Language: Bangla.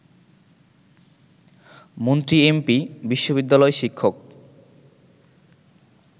মন্ত্রী-এমপি, বিশ্ববিদ্যালয় শিক্ষক